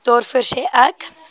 daarvoor sê ek